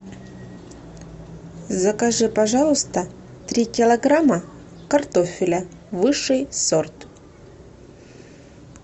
закажи пожалуйста три килограмма картофеля высший сорт